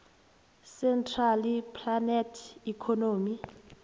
centrally planned economy